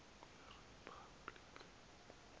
kwiriphabliki